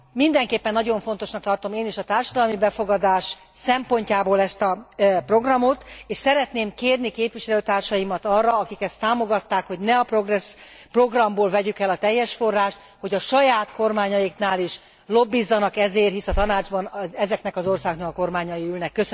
Mindenképpen nagyon fontosnak tartom a társadalmi befogadás szempontjából ezt a programot, és szeretném kérni képviselőtársaimat arra, akik ezt támogatták, hogy ne a Progress programból vegyük el teljes forrást, hogy a saját kormányaiknál is lobbizzanak ezért, hisz a Tanácsban ezeknek az országoknak a kormányai ülnek